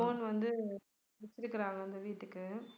loan வந்து வெச்சிருக்கிறாங்க அந்த வீட்டுக்கு